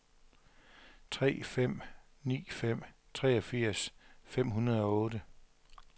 tre fem ni fem treogfirs fem hundrede og otte